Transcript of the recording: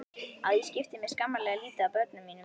Að ég skipti mér skammarlega lítið af börnum mínum.